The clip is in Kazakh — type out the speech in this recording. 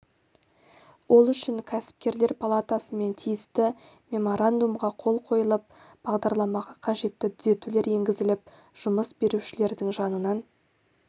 ол үшін кәсіпкерлер палатасымен тиісті меморандумға қол қойылып бағдарламаға қажетті түзетулер енгізіліп жұмыс берушілердің жанынан